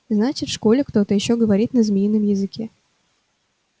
значит в школе кто-то ещё говорит на змеином языке